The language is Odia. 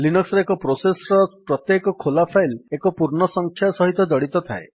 ଲିନକ୍ସ୍ ରେ ଏକ ପ୍ରୋସେସ୍ ର ପ୍ରତ୍ୟେକ ଖୋଲା ଫାଇଲ୍ ଏକ ପୂର୍ଣ୍ଣ ସଂଖ୍ୟା ସହିତ ଜଡିତ ଥାଏ